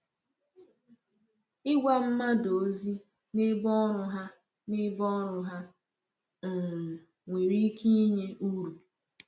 Ịgwa mmadụ ozi n’ebe ọrụ ha n’ebe ọrụ ha um nwere ike inye uru.